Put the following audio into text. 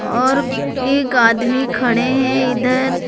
और एक आदमी खड़े हैं इधर।